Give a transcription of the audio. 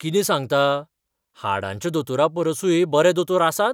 कितें सांगता? हाडांच्या दोतोरापरसूय बरे दोतोर आसात?